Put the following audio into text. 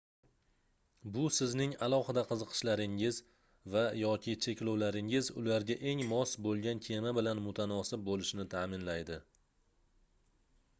bu sizning alohida qiziqishlaringiz va/yoki cheklovlaringiz ularga eng mos bo'lgan kema bilan mutanosib bo'lishini ta'minlaydi